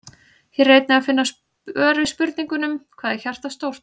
Hér er einnig að finna svör við spurningunum: Hvað er hjartað stórt?